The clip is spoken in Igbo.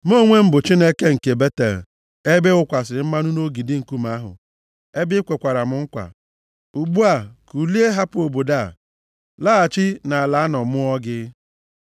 Mụ onwe m bụ Chineke nke Betel, ebe ị wụkwasịrị mmanụ nʼogidi nkume ahụ, ebe ị kwekwara m nkwa. Ugbu a, kulie, hapụ obodo a, laghachi nʼala a nọ mụọ gị.’ ”